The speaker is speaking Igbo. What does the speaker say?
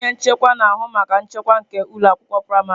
Onye nchekwa na-ahụ maka nchekwa nke ụlọ akwụkwọ praịmarị.